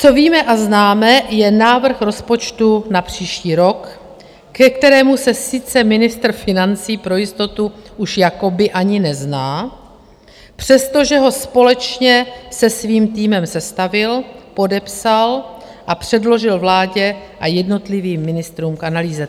Co víme a známe, je návrh rozpočtu na příští rok, ke kterému se sice ministr financí pro jistotu už jakoby ani nezná, přestože ho společně se svým týmem sestavil, podepsal a předložil vládě a jednotlivým ministrům k analýze.